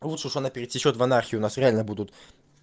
лучше уж она пересечёт в анархию нас реально будут